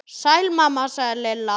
Sæl mamma sagði Lilla.